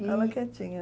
E eu lá quietinha.